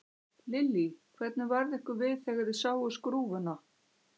Lillý: Hvernig varð ykkur við þegar þið sáuð skrúfuna?